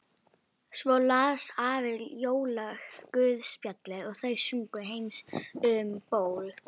Svo las afi jólaguðspjallið og þau sungu Heims um ból.